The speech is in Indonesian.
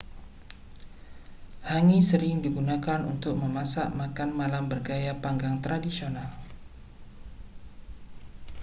hangi sering digunakan untuk memasak makan malam bergaya panggang tradisional